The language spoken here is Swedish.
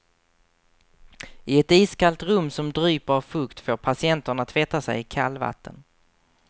I ett iskallt rum som dryper av fukt får patienterna tvätta sig i kallvatten.